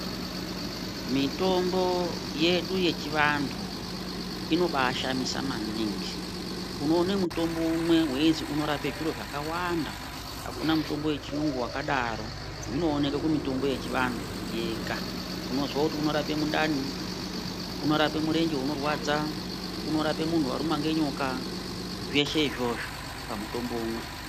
Mitombo yedu yechivantu inobaashamisa maningi. Unoone mutombo umwe weizi unorape zviro zvakawanda. Hakuna mutombo wechiyungu wakadaro, zvinooneke kumutombo yechivantu yega. Unozwa kuti unorape mundani, unorape murenje unorwadza, unorape muntu warumwa ngenyoka, zveshe izvozvo pamutombo umwe.